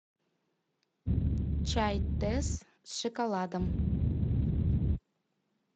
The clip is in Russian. чай тесс с шоколадом